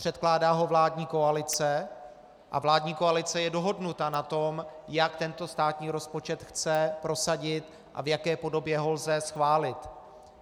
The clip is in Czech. Předkládá ho vládní koalice a vládní koalice je dohodnuta na tom, jak tento státní rozpočet chce prosadit a v jaké podobě ho lze schválit.